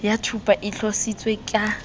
ya thupa e tlotsitsweng ka